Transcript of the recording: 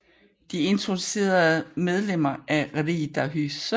De introducerede er medlemmer af Riddarhuset